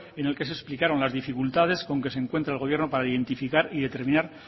en el que se explicaron las dificultades con que se encuentra el gobierno para identificar y determinar